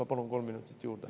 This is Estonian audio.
Ma palun kolm minutit juurde.